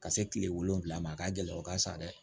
Ka se kile wolonwula ma a ka gɛlɛ o ka sa dɛ